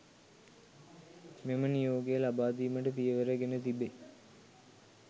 මෙම නියෝගය ලබා දීමට පියවර ගෙන තිබේ